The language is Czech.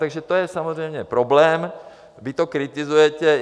Takže to je samozřejmě problém, vy to kritizujete.